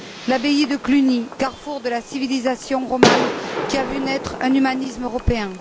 L'abbaye de Cluny, carrefour de la civilisation romane, qui a vu naître un humanisme européen.